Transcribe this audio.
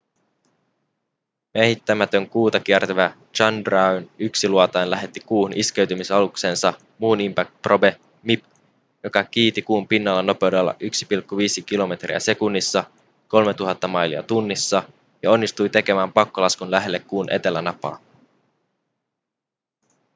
miehittämätön kuuta kiertävä chandrayaan-1 -luotain lähetti kuuhun iskeytymisaluksensa moon impact probe mip joka kiiti kuun pinnalla nopeudella 1,5 km/s 3 000 mailia tunnissa ja onnistui tekemään pakkolaskun lähelle kuun etelänapaa